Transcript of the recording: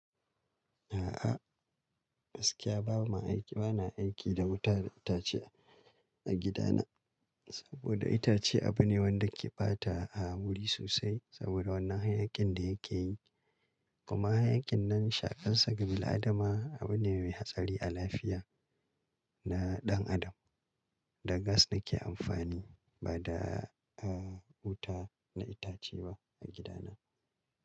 A'a, gaskiya bana aiki da wuta da itace a gida na. Saboda itace abu ne wanda ke ɓata a wuri sosai saboda wannan hayaƙin da yake yi. Kuma hayaƙin nan shaƙansa ga bil'adama abu ne mai hatsari a lafiya. Na ɗan adam. Da gas nake amfani ba da, wuta na itace ba a gida na.